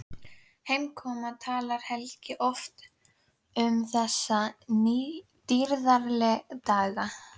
Heimkominn talar Helgi oft um þessa dýrðardaga.